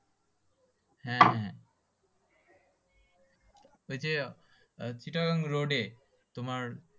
হ্যাঁ হ্যাঁ ঐযে চিটাগং road এ তোমার